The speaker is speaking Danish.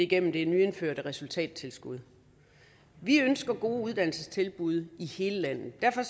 gennem det nyindførte resultattilskud vi ønsker gode uddannelsestilbud i hele landet derfor